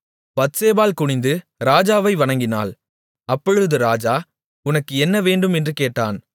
பத்சேபாள் குனிந்து ராஜாவை வணங்கினாள் அப்பொழுது ராஜா உனக்கு என்ன வேண்டும் என்று கேட்டான்